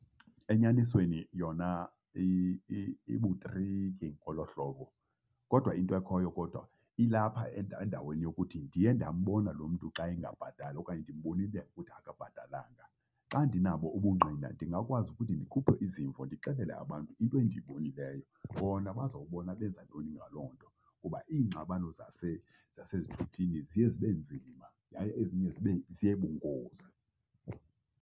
Enyanisweni yona ibutriki ngolo hlobo. Kodwa into ekhoyo kodwa ilapha endaweni yokuthi ndiye ndambona lo mntu xa engabhatali okanye ndimbonile ukuthi akabhatalanga. Xa ndinabo ubungqina ndingakwazi ukuthi ndikhuphe izimvo ndixelele abantu into endiyibonileyo. Bona bazawubona benza ntoni ngaloo nto, kuba iingxabano zasezithuthini ziye zibe nzima yaye ezinye zibe, ziye bungozi.